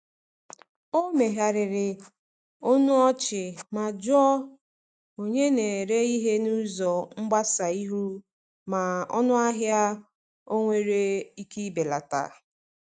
O megharịrị ọnụ ọchị ma jụọ onye na-ere ihe n’ụzọ mgbasa ihu ma ọnụahịa onwere ike ibelata.